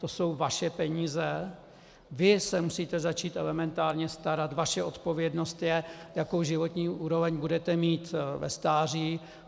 To jsou vaše peníze, vy se musíte začít elementárně starat, vaše odpovědnost je, jakou životní úroveň budete mít ve stáří.